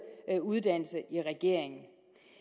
uddannelse